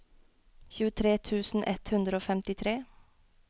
tjuetre tusen ett hundre og femtitre